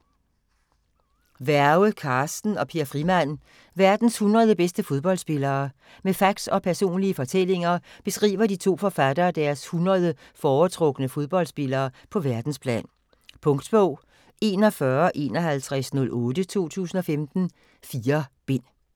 Werge, Carsten og Per Frimann: Verdens 100 bedste fodboldspillere Med facts og personlige fortællinger beskriver de to forfattere deres 100 foretrukne fodboldspillere på verdensplan. Punktbog 415108 2015. 4 bind.